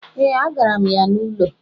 Ee, agara m ya n'ụlọ